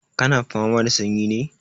Ka na fama da sanyi ne?